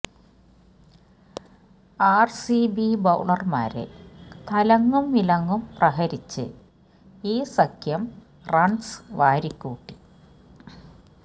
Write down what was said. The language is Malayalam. ആര്സിബി ബൌളര്മാരെ തലങ്ങും വിലങ്ങും പ്രഹരിച്ച് ഈ സഖ്യം റണ്സ് വാരിക്കൂട്ടി